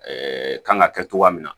kan ka kɛ cogoya min na